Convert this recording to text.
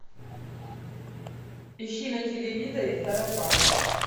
ищи на телевизоре сарафан